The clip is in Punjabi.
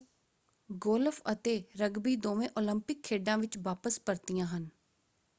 ਗੋਲਫ ਅਤੇ ਰਗਬੀ ਦੋਵੇਂ ਓਲੰਪਿਕ ਖੇਡਾਂ ਵਿੱਚ ਵਾਪਸ ਪਰਤੀਆਂ ਹਨ।